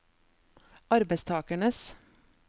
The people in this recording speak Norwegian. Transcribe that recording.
arbeidstakernes